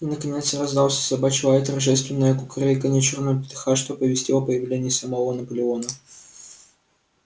и наконец раздался собачий лай и торжественное кукареканье чёрного петуха что оповестило о появлении самого наполеона